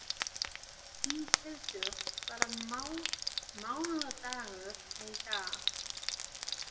Íshildur, hvaða mánaðardagur er í dag?